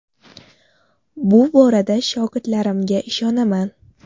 Bu borada shogirdlarimga ishonaman.